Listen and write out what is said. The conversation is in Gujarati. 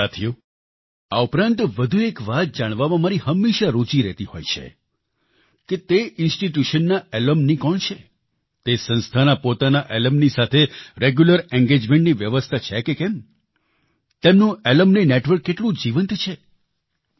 સાથીઓ આ ઉપરાંત વધુ એક વાત જાણવામાં મારી હંમેશા રૂચી રહેતી હોય છે કે તે ઇન્સ્ટિટ્યુશન ના એલ્યુમની કોણ છે તે સંસ્થાના પોતાના એલ્યુમની સાથે રેગ્યુલર engagementની વ્યવસ્થા છે કે કેમ તેમનું એલ્યુમની નેટવર્ક કેટલું જીવંત છે